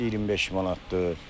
Çolpa 25 manatdır.